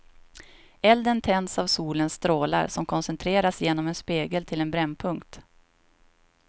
Elden tänds av solens strålar som koncentreras genom en spegel till en brännpunkt.